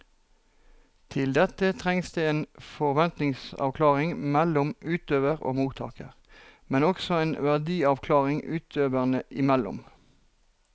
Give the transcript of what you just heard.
Til dette trengs det en forventningsavklaring mellom utøver og mottaker, men også en verdiavklaring utøverne imellom.